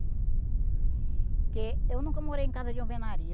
Porque eu nunca morei em casa de alvenaria.